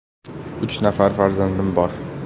“Uch nafar farzandim bor.